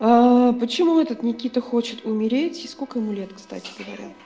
почему этот никита хочет умереть и сколько ему лет кстати говоря